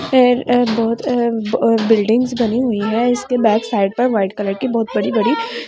फिर एक बहोत अ बिल्डिंग्स बनी हुई है इसके बैक साइड पर व्हाइट कलर के बहोत बड़ी बड़ी--